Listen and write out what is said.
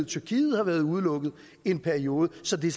tyrkiet har været udelukket i en periode så det